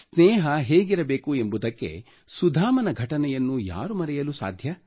ಸ್ನೇಹ ಹೇಗಿರಬೇಕು ಎಂಬುದಕ್ಕೆ ಸುಧಾಮನ ಘಟನೆಯನ್ನು ಯಾರು ಮರೆಯಲು ಸಾಧ್ಯ